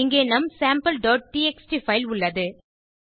இங்கே நம் sampleடிஎக்ஸ்டி பைல் உள்ளது